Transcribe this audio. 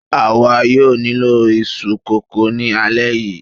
àwa yóò nílò iṣu kókò ni alẹ́ yìí